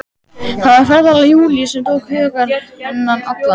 Það var ferðalag Júlíu sem tók hug hennar allan.